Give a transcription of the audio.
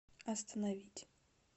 остановить